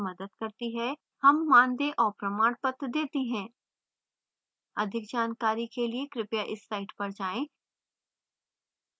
हम मानदेय और प्रमाणपत्र details हैं अधिक जानकारी के लिए कृपया इस site पर जाएँ